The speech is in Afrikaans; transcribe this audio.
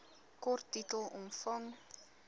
kort titel omvang